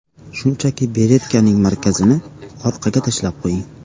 Shunchaki beretkaning markazini orqaga tashlab qo‘ying.